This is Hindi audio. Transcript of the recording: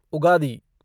उगड़ी